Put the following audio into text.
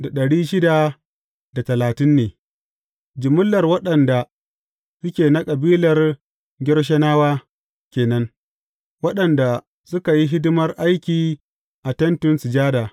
Jimillar waɗanda suke na kabilar Gershonawa ke nan, waɗanda suka yi hidimar aiki a Tentin Sujada.